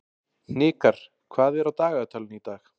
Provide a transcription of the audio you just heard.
Hnikar, hvað er á dagatalinu í dag?